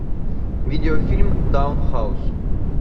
видеофильм даун хаус